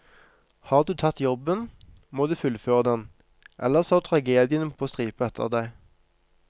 Har du tatt jobben, må du fullføre den, ellers har du tragediene på stripe etter deg.